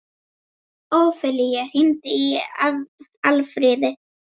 Ófelía, hringdu í Alfríði.